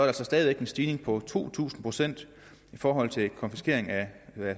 altså stadig væk en stigning på to tusind procent i forhold til konfiskering af